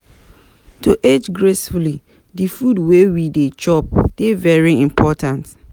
To age gracefully, di food wey we dey chop dey very important